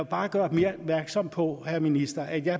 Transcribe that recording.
bare gøre opmærksom på herre minister at jeg